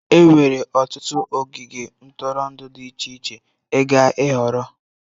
Enwere ọtụtụ ogige ntụrụndụ dị iche iche ịga ịhọrọ.